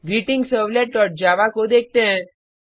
greetingservletजावा को देखते हैं